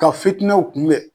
Ka fitinɛw kunbɛn